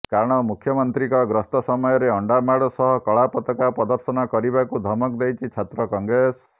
କାରଣ ମୁଖ୍ୟମନ୍ତ୍ରୀଙ୍କ ଗସ୍ତ ସମୟରେ ଅଣ୍ଡାମାଡ ସହ କଳା ପତାକା ପ୍ରଦର୍ଶନ କରିବାକୁ ଧମକ ଦେଇଛି ଛାତ୍ର କଂଗ୍ରେସ